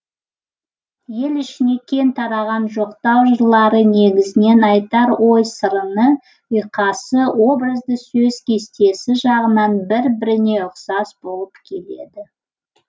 ел ішіне кең тараған жоқтау жырлары негізінен айтар ой сарыны ұйқасы образды сөз кестесі жағынан бір біріне ұқсас болып келеді